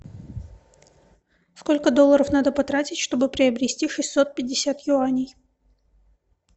сколько долларов надо потратить чтобы приобрести шестьсот пятьдесят юаней